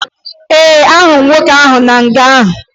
Ee, ahụrụ m nwoke ahụ nọ na nga